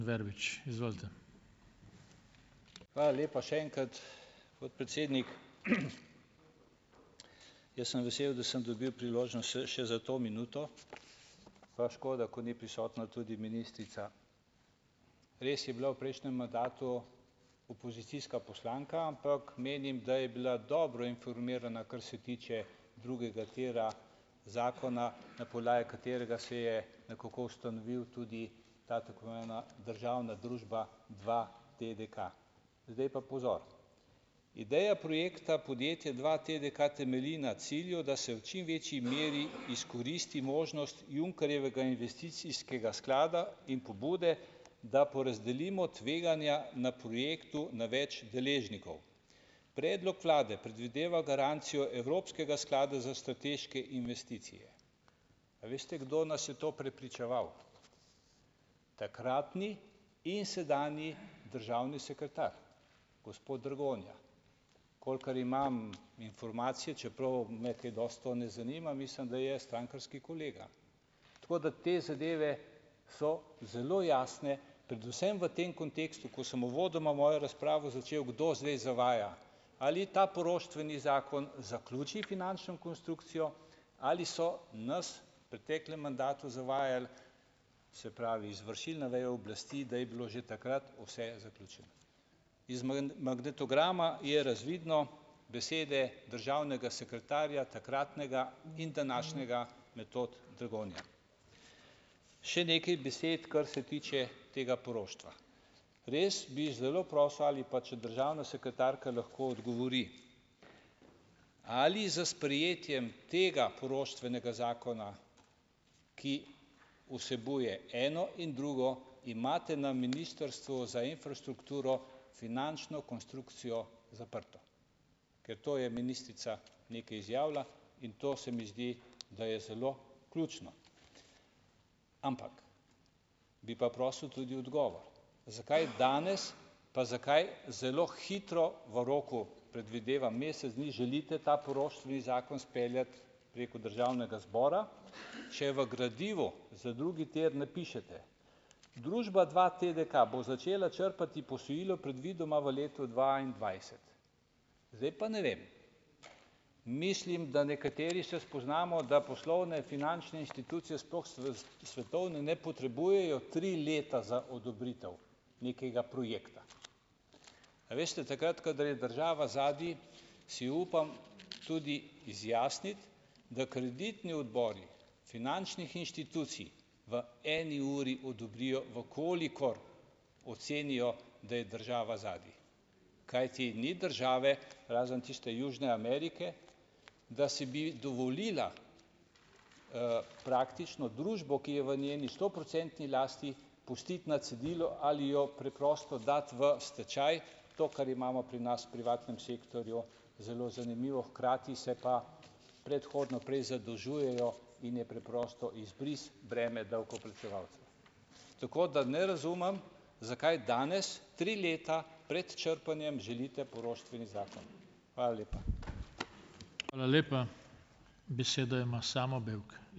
Hvala lepa še enkrat, podpredsednik. Jaz sem vesel, da sem dobil priložnost še še za to minuto. Pa škoda, ker ni prisotna tudi ministrica. Res je bila v prejšnjem mandatu opozicijska poslanka, ampak menim, da je bila dobro informirana, kar se tiče drugega tira, zakona, na podlagi katerega se je nekako ustanovil tudi ta državna družba dva TDK. Zdaj pa pozor. Ideja projekta podjetje dva TDK temelji na cilju, da se v čim večji meri izkoristi možnost Junckerjevega investicijskega sklada in pobude, da porazdelimo tveganja na projektu na več deležnikov. Predlog vlade predvideva garancijo evropskega sklada za strateške investicije. A veste, kdo nas je v to prepričeval? Takratni in sedanji državni sekretar, gospod Dragonja. Kolikor imam informacije, čeprav me kaj dosti to ne zanima, mislim da je strankarski kolega. Tako da te zadeve so zelo jasne, predvsem v tem kontekstu, ko sem uvodoma mojo razpravo začel. Kdo zdaj zavaja? Ali je ta poroštveni zakon zaključil finančno konstrukcijo? Ali so nas preteklem mandatu zavajali, se pravi, izvršilna veja oblasti, da je bilo že takrat vse zaključeno? Iz magnetograma je razvidno, besede državnega sekretarja, takratnega, in današnjega, Metod Dragonja. Še nekaj besed, kar se tiče tega poroštva. Res bi zelo prosil ali pa, če državna sekretarka lahko odgovori. Ali s sprejetjem tega poroštvenega zakona, ki vsebuje eno in drugo, imate na ministrstvu za infrastrukturo finančno konstrukcijo zaprto? Ker to je ministrica nekaj izjavila in to se mi zdi, da je zelo ključno. Ampak, bi pa prosil tudi odgovor. Zakaj danes pa zakaj zelo hitro v roku, predvidevam, mesec dni želite ta poroštveni zakon speljati preko državnega zbora, če v gradivu za drugi tir napišete: "Družba dva TDK bo začela črpati posojilo predvidoma v letu dvaindvajset." Zdaj pa ne vem, mislim, da nekateri se spoznamo, da poslovne finančne institucije, sploh svetovne, ne potrebujejo tri leta za odobritev nekega projekta. A veste, takrat kadar je država zadaj, si upam tudi izjasniti, da kreditni odbori finančnih inštitucij v eni uri odobrijo, v kolikor ocenijo, da je država zadaj, kajti ni države razen tiste južne Amerike, da si bi dovolila, praktično družbo, ki je v njeni stoprocentni lasti pustiti na cedilu ali jo preprosto dati v stečaj, to, kar imamo pri nas v privatnem sektorju, zelo zanimivo, hkrati se pa predhodno prej zadolžujejo in je preprosto izbris breme davkoplačevalcev. Tako da ne razumem, zakaj danes, tri leta pred črpanjem, želite poroštveni zakon. Hvala lepa.